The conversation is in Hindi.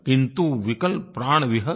किंतु विकल प्राण विहग